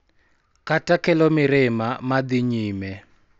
Kata kelo mirima ma dhi nyime.